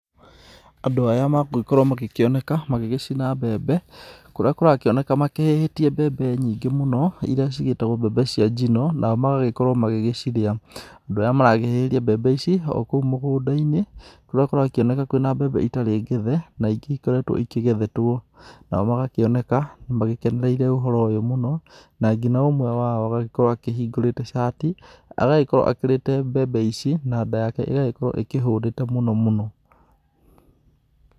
Andũ aya magũgĩkorwo makĩoneka magĩgĩcina mbembe, kũrĩa kũragĩkĩoneka mahĩhĩtie mbembe nyingĩ mũno, iria cigĩtagwo mbembe cia njino, nao magakorwo magĩgĩcirĩa. Andũ aya marahĩhĩria mbembe ici o kũu mũgũnda kũrĩa kũrakĩoneka kwĩna mbembe citarĩ ngethe na ingĩ igĩkoretwo igethetwo. Nao magakĩoneka magĩkenereire ũhoro ũyũ mũno na nginya ũmwe wao agagĩkorwo akĩhingũrĩte cati, agagĩkorwo akĩrĩte mbembe ici na nda yake ĩgagĩkorwo ĩhũnĩte mũno mũno.